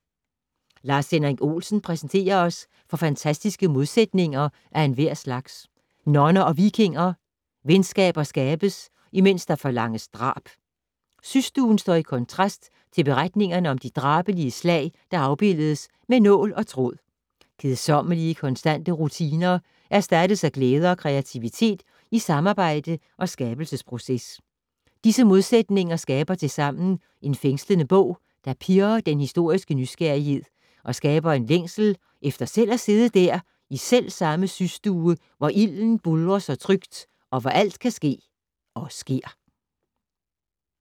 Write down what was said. Lars-Henrik Olsen præsenterer os for fantastiske modsætninger af enhver slags. Nonner og vikinger. Venskaber skabes imens der forlanges drab. Systuen står i kontrast til beretningerne om de drabelige slag, der afbildes med nål og tråd. Kedsommelige konstante rutiner erstattes af glæde og kreativitet i samarbejde og skabelsesproces. Disse modsætninger skaber tilsammen en fængslende bog, der pirrer den historiske nysgerrighed og skaber en længsel efter selv at sidde der, i selvsamme systue, hvor ilden buldrer så trygt, men hvor alt kan ske og sker.